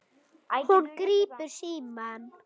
Hún grípur símann.